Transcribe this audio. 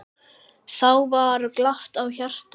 Þá var glatt á hjalla.